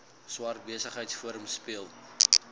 swart besigheidsforum speel